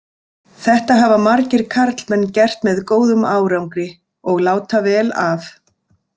Þetta hafa margir karlmenn gert með góðum árangri, og láta vel af.